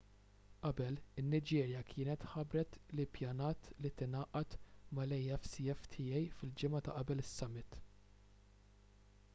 qabel in-niġerja kienet ħabbret li ppjanat li tingħaqad mal-afcfta fil-ġimgħa ta' qabel is-summit